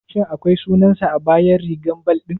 Shin akwai sunansa a bayan rigar ball ɗin?